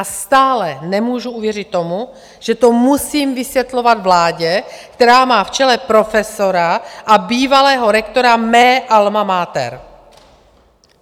A stále nemůžu uvěřit tomu, že to musím vysvětlovat vládě, která má v čele profesora a bývalého rektora mé alma mater.